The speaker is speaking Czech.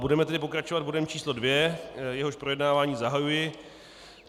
Budeme tedy pokračovat bodem číslo 2, jehož projednávání zahajuji.